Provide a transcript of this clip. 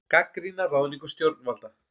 Gagnrýna ráðningu stjórnvalda